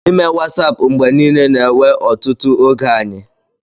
ịme Wasap mgbe niile na-ewe ọtụtụ oge anyị